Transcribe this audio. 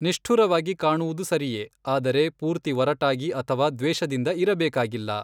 ನಿಷ್ಠುರವಾಗಿ ಕಾಣುವುದು ಸರಿಯೆ, ಆದರೆ, ಪೂರ್ತಿ ಒರಟಾಗಿ ಅಥವಾ ದ್ವೇಷದಿಂದ ಇರಬೇಕಾಗಿಲ್ಲ.